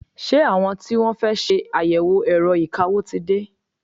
Ṣé àwọn tí wọ́n fẹ́ ṣe àyẹ̀wò ẹ̀rọ ìkawó ti dé?